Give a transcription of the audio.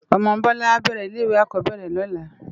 Òmò Bola á bèrè ilé iwé ákòóbèrè lòlá